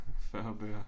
40 bøger